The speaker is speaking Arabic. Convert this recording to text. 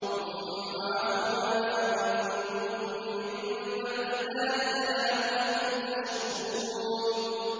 ثُمَّ عَفَوْنَا عَنكُم مِّن بَعْدِ ذَٰلِكَ لَعَلَّكُمْ تَشْكُرُونَ